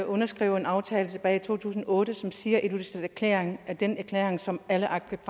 underskrev en aftale tilbage i to tusind og otte som siger at ilulissaterklæringen er den erklæring som alle arctic